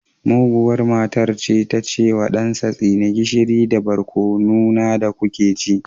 Muguwar matar ta ce wa ɗansa tsine gishiri da barkono na da kuke ci